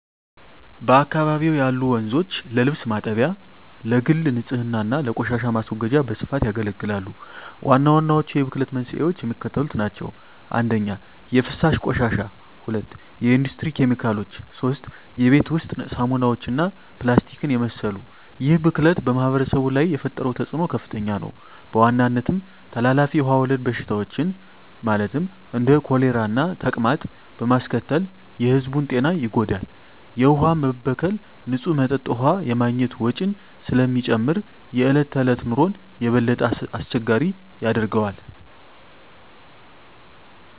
በአካባቢው ያሉ ወንዞች ለልብስ ማጠቢያ፣ ለግል ንፅህና እና ለቆሻሻ ማስወገጃ በስፋት ያገለግላሉ። ዋናዎቹ የብክለት መንስኤዎች የሚከተሉት ናቸው - 1) የፍሳሽ ቆሻሻ 2) የኢንዱስትሪ ኬሚካሎች 3) የቤት ውስጥ ሳሙናዎች እና ፕላስቲክን የመሰሉ ይህ ብክለት በማኅበረሰቡ ላይ የፈጠረው ተፅዕኖ ከፍተኛ ነው፤ በዋናነትም ተላላፊ ውሃ ወለድ በሽታዎችን (እንደ ኮሌራና ተቅማጥ) በማስከተል የሕዝቡን ጤና ይጎዳል። የውሃ መበከል ንፁህ መጠጥ ውሃ የማግኘት ወጪን ስለሚጨምር የዕለት ተዕለት ኑሮን የበለጠ አስቸጋሪ ያደርገዋል።